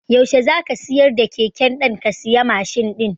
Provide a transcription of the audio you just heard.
Yaushe zaka siyar da keken dan ka siya Mashin ɗin?